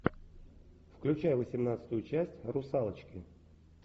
включай восемнадцатую часть русалочки